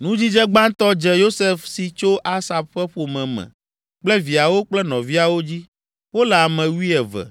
Nudzidze gbãtɔ dze Yosef si tso Asaf ƒe ƒome me kple viawo kple nɔviawo dzi; wole ame wuieve.